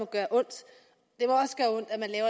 gøre ondt